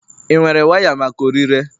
ị nwere waya maka ọrịre?